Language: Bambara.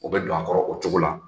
O bɛ don a kɔrɔ o cogo la